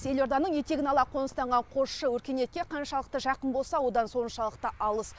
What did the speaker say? елорданың етегін ала қоныстанған қосшы өркениетке қаншалықты жақын болса одан соншалықты алыс